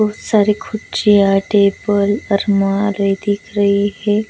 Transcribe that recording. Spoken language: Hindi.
बहुत सारे खुर्चिया टेबल और अलमारी दिख रही है.